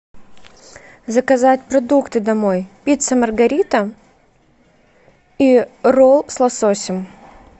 заказать продукты домой пицца маргарита и ролл с лососем